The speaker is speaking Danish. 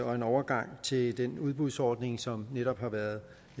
og en overgang til den udbudsordning som netop har været